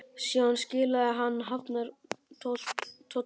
Síðan skilaði hann hafnartollinum.